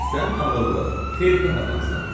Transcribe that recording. Sən ağıllı, xeyirxah adamsan.